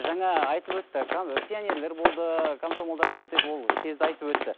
жаңа айтып өтті пионерлер болды комсомолдар болды деп ол кезді айтып өтті